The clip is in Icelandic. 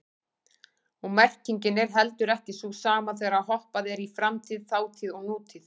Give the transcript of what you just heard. Og merkingin er heldur ekki sú sama þegar hoppað er í framtíð, þátíð og nútíð.